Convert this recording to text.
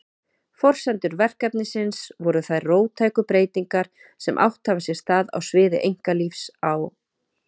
Forsendur verkefnisins voru þær róttæku breytingar sem átt hafa sér stað á sviði einkalífs á